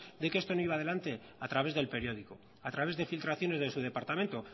de que esto no iba adelante a través del periódico a través de filtraciones de su departamento